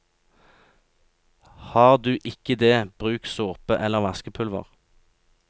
Har du ikke det, bruk såpe eller vaskepulver.